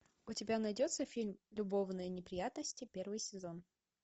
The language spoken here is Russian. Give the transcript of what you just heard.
у тебя найдется фильм любовные неприятности первый сезон